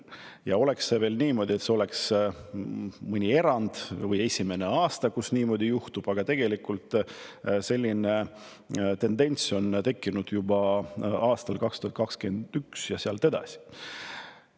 Ja oleks veel niimoodi, et see oleks mõni erand või esimene aasta, kus niimoodi juhtub, aga tegelikult selline tendents on tekkinud juba aastal 2021 ja sealt edasi.